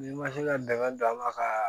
N'i ma se ka dangari don a la ka